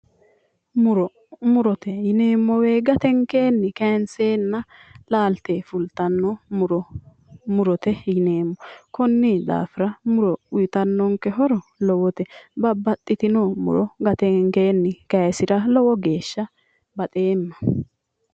Muro, murote yineemmo woyte gatenkenni kayinsenna laalte fulittanno muro murote yineemmo konni daafira muro uyittanno horo lowote ,babbaxitino muro gatenkenni kayisira lowo geeshsha baxeemma".